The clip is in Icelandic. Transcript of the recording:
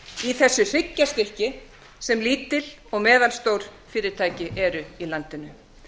í þessu hryggjarstykki sem lítil og meðalstór fyrirtæki ber í landinu